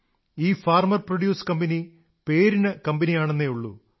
ഈ farmer produce company പേരിന് കമ്പനിയാണെന്നേയുള്ളൂ